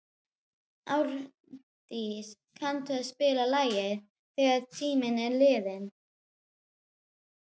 Árdís, kanntu að spila lagið „Þegar tíminn er liðinn“?